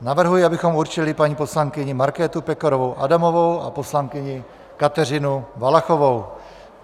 Navrhuji, abychom určili paní poslankyni Markétu Pekarovou Adamovou a poslankyni Kateřinu Valachovou.